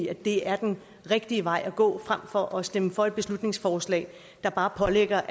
at det er den rigtige vej at gå frem for at stemme for et beslutningsforslag der bare pålægger